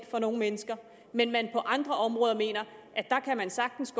for nogen mennesker men at man på andre områder mener at man sagtens